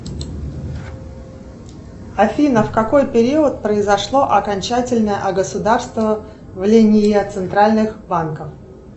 афина в какой период произошло окончательное огосударствление центральных банков